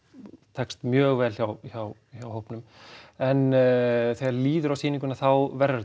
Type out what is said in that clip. tekst mjög vel hjá hjá hjá hópnum en þegar líður á sýninguna þá verður